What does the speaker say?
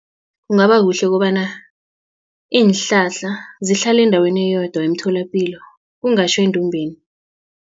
Kungaba kuhle kobana iinhlahla zihlale endaweni eyodwa emtholapilo kungatjho endumbeni.